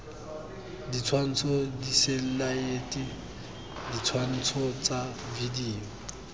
ditshwantsho diselaete ditshwantsho tsa video